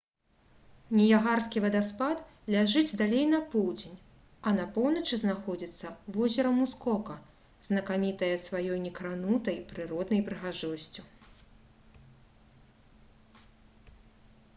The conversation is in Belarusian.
ніягарскі вадаспад ляжыць далей на поўдзень а на поўначы знаходзіцца возера мускока знакамітае сваёй некранутай прыроднай прыгажосцю